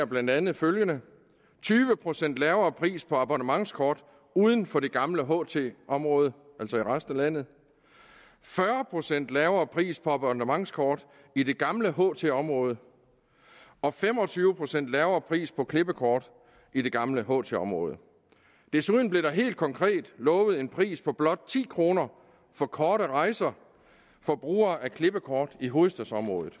blandt andet følgende tyve procent lavere pris på abonnementskort uden for det gamle ht område altså i resten af landet fyrre procent lavere pris på abonnementskort i det gamle ht område og fem og tyve procent lavere pris på klippekort i det gamle ht område desuden blev der helt konkret lovet en pris på blot ti kroner for korte rejser for brugere af klippekort i hovedstadsområdet